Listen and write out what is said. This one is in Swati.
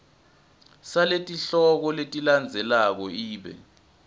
saletihloko letilandzelako ibe